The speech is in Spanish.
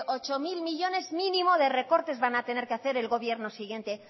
ocho mil millónes mínimo de recortes van a tener que hacer el gobierno siguiente